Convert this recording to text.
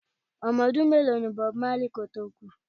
Ọmọ ọdún mélòó ní Bob marley kò tó kú?